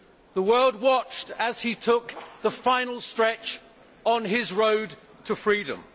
The world watched as he took the final stretch on his road to freedom.